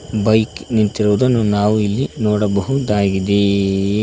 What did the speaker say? Bike ನಿಂತಿರುವುದನ್ನು ನಾವು ಇಲ್ಲಿ ನೋಡಬಹುದಾಗಿದೆ.